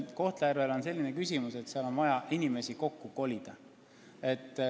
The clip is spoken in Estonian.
Kohtla-Järvel on selline küsimus, et seal on vaja inimesi kokku kolida.